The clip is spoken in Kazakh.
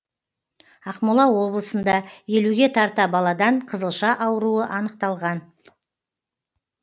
ақмола облысында елуге тарта баладан қызылша ауруы анықталған